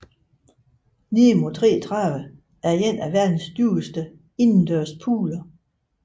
Nemo 33 er en af verdens dybeste indendørs pooler